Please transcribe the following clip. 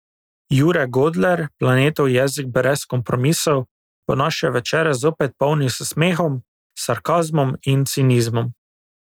Jure Godler, Planetov jezik brez kompromisov, bo naše večere zopet polnil s smehom, sarkazmom in cinizmom.